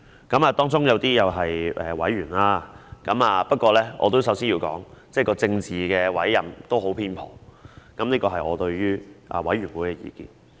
監警會中有一些委員——不過我首先要說，政治委任是很偏頗，這是我對於這個委員會的意見。